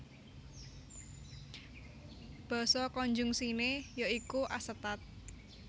Basa konjungsiné ya iku asetat